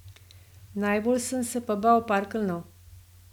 Najbolj sem se pa bal parkeljnov.